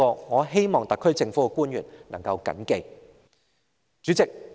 我希望特區政府的官員能緊記這一點。